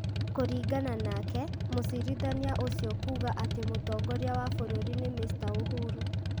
Kũringana nake, mũcirithania ũcio kuuga atĩ mũtongoria wa bũrũri nĩ Mr Uhuru ,